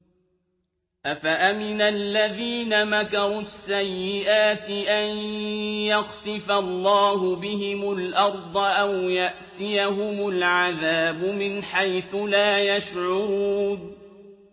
أَفَأَمِنَ الَّذِينَ مَكَرُوا السَّيِّئَاتِ أَن يَخْسِفَ اللَّهُ بِهِمُ الْأَرْضَ أَوْ يَأْتِيَهُمُ الْعَذَابُ مِنْ حَيْثُ لَا يَشْعُرُونَ